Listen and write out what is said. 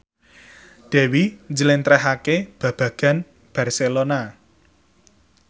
Dewi njlentrehake babagan Barcelona